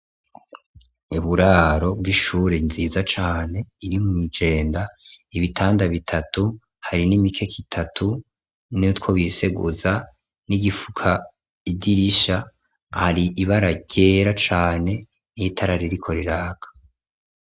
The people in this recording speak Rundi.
Uburaro bw'ishuri ryiza cane iri mw' ijenda, ibitanda bitatu, hari n'imikeka itatu nutwo biseguza, n'igifuka idirisha, hari ibara ryera cane n'itara ririko riraka.